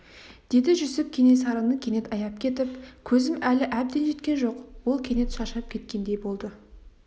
деді жүсіп кенесарыны кенет аяп кетіп көзім әлі әбден жеткен жоқ ол кенет шаршап кеткендей болды